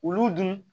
Olu dun